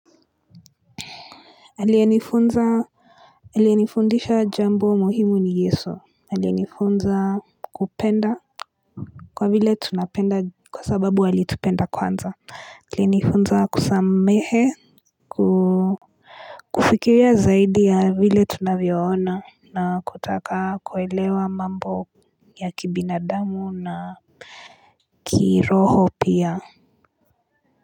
Aliyenifunza Aliyenifundisha jambo muhimu ni yesu Aliyenifunza kupenda Kwa vile tunapenda kwa sababu walitupenda kwanza Alinifunza kusamehe kufikiria zaidi ya vile tunavyoona na kutaka kuelewa mambo ya kibinadamu na kiroho pia.